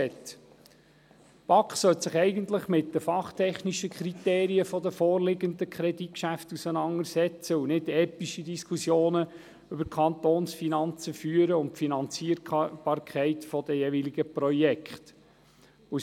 Die BaK sollte sich eigentlich mit den fachtechnischen Kriterien der vorliegenden Kreditgeschäfte auseinandersetzten und nicht epische Diskussionen über die Kantonsfinanzen, beziehungsweise die Finanzierbarkeit der jeweiligen Projekte, führen.